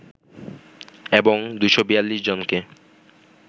এবং ২৪২ জনকে